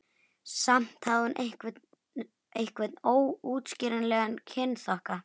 Samt hafði hún einhvern óútskýranlegan kynþokka.